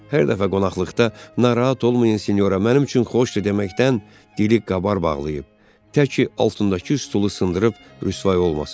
Hər dəfə qonaqlıqda "Narahat olmayın, sinyora, mənim üçün xoşdur" deməkdən dili qabar bağlayıb, təki altındakı stulu sındırıb rüsvay olmasın.